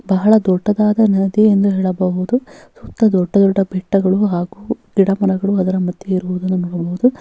ಬಹಳ ದೊಡ್ಡದಾದ ನದಿ ಎಂದು ಹೇಳಬಹುದು ಸುತ್ತ ದೊಡ್ಡ ದೊಡ್ಡ ಬೆಟ್ಟಗಳು ಹಾಗು ಗಿಡ ಮರಗಳು ಅದರ ಮದ್ಯ ಇರುವುದನ್ನು ನಾವು ನೋಡಬಹುದು.